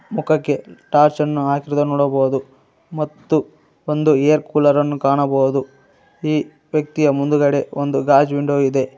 ಮುಖಕೆ torch ಅನ್ನು ಹಾಕಿರುದು ನೋಡಬಹುದು ಮತ್ತು ಒಂದು ಏರ್ ಕೂಲರ್ ನ್ನು ಕಾಣಬಹುದು ಈ ವ್ಯಕ್ತಿಯ ಮುಂದಗಡೆ ಒಂದು ಗಾಜ್ ವಿಂಡೋ ಇದೆ.